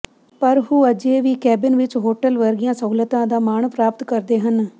ਪਰ ਉਹ ਅਜੇ ਵੀ ਕੈਬਿਨ ਵਿਚ ਹੋਟਲ ਵਰਗੀਆਂ ਸਹੂਲਤਾਂ ਦਾ ਮਾਣ ਪ੍ਰਾਪਤ ਕਰਦੇ ਹਨ